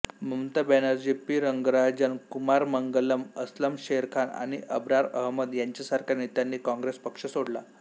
Mamata Banerjee P Rangarajan Kumaramangalam Aslam Sherkhan आणि अब्रार अहमद यांच्यासारख्या नेत्यांनी काँग्रेस पक्ष सोडला